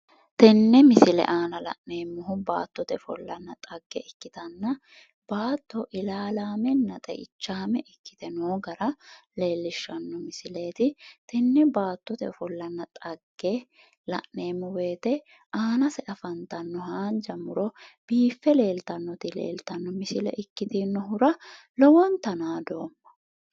tenne misile aana la'neemmohu baattote ofollanna xagge ikkitanna baatto ilaalaamenna xeichaame ikkite noo gara leellishshanno misileeti tenne baattote ofollanna xagge la'neemmo wote aanase afantanno haanja muro biiffe leeltanoti leeltanno misile ikkitinohura lowonta naadooma.